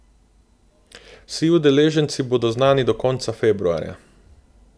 Vsi udeleženci bodo znani do konca februarja.